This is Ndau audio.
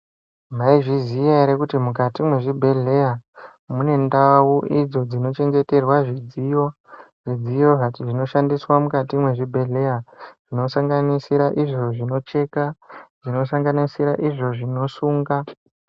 Maizviya ere kuti mukati mwezvibhedhlera mune ndau idzo dzinochengeterwa zvidziyo, zvidziyo zvinoshandiswa mukati mwezvibhedhlera zvinosanganisira izvo zvinocheka , zvinosanganisira izvo zvinosunga.